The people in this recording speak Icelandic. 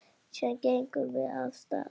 Síðan gengum við af stað.